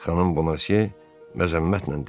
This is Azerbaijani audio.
Xanım Bonasiya məzəmmətlə dedi.